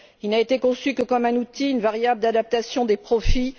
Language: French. Il n'a été conçu que comme un outil, une variable d'adaptation des profits.